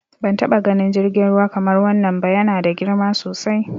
Ban taɓa ganin jirgin ruwa kamar wannan ba, ya na da girma sosai.